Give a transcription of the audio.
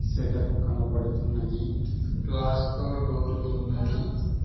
Shutter కనబడుతున్నది glass తో door ఉన్నది.